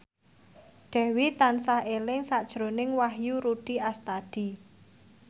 Dewi tansah eling sakjroning Wahyu Rudi Astadi